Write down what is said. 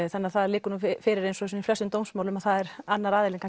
þannig það liggur nú fyrir eins og í flestum dómsmálum að það er annar aðilinn